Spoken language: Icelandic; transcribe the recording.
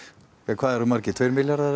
hvað eru margir tveir milljarðar